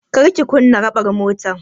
Kar ki kunna raɓar mutar!